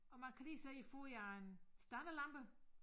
Og man kan lige se foden af en standerlampe